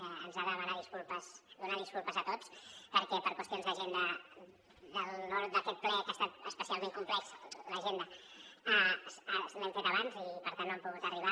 els hem de demanar disculpes a tots perquè per qüestions d’agenda d’aquest ple que ha estat especialment complexa l’agenda l’hem fet abans i per tant no han pogut arribar